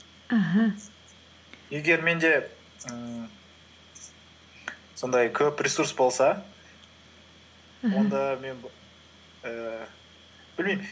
аха егер менде ііі сондай көп ресурс болса аха онда мен б ііі білмеймін